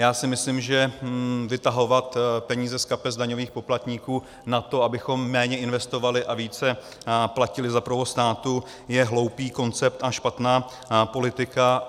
Já si myslím, že vytahovat peníze z kapes daňových poplatníků na to, abychom méně investovali a více platili za provoz státu, je hloupý koncept a špatná politika.